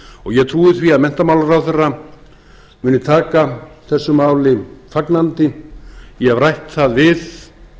ég trúi því að menntamálaráðherra muni taka þessu máli fagnandi ég hef rætt það við